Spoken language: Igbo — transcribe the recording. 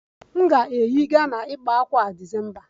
M ga-eyi Ghana ịkpa ákwà a December